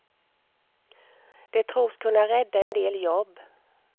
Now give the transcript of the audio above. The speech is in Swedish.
Det tros kunna rädda en del jobb.